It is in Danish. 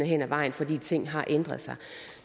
hen ad vejen fordi ting har ændret sig